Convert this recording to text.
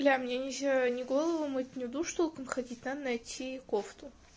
бля мне нельзя не голову мыть не в душ ходить надо найти кофту